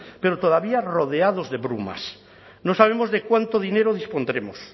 pero todavía rodeados de brumas no sabemos de cuánto dinero dispondremos